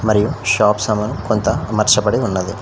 మరియు షాప్ సమన్ కొంత అమర్చబడి ఉన్నది.